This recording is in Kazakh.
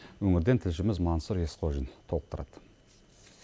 өңірден тілшіміз мансұр есқожин толықтырады